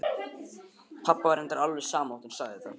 Pabba var reyndar alveg sama þegar hún sagði þetta.